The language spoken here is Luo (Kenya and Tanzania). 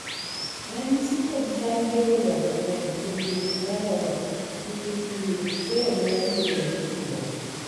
ranyisi kod chal bedo ga mang'eny e dweche mar oro nikech liet, chwero luya gi regruok